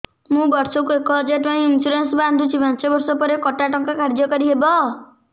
ମୁ ବର୍ଷ କୁ ଏକ ହଜାରେ ଟଙ୍କା ଇନ୍ସୁରେନ୍ସ ବାନ୍ଧୁଛି ପାଞ୍ଚ ବର୍ଷ ପରେ କଟା ଟଙ୍କା କାର୍ଯ୍ୟ କାରି ହେବ